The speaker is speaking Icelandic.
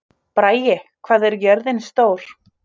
Bragi, hvað er jörðin stór?